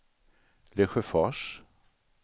Lesjöfors